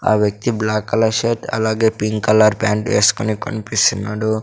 ఆ వ్యక్తి black colour shirt అలాగే పింక్ కలర్ ప్యాంట్ వేస్కొని కన్పిస్తున్నాడు.